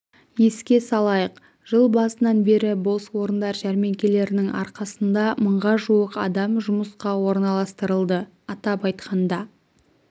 еске салайық жыл басынан бері бос орындар жәрмеңкелерінің арқасында мыңға жуық адам жұмысқа орналастырылды атап айтқанда